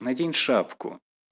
надень шапку